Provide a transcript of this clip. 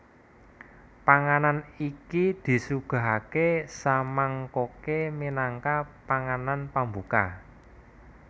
Panganan iki disuguhake samangkoke minangka panganan pambuka